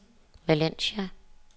Valencia